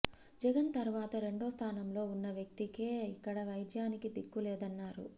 జగన్ తరువాత రెండో స్థానంలో ఉన్న వ్యక్తికే ఇక్కడ వైద్యానికి దిక్కు లేదన్నారు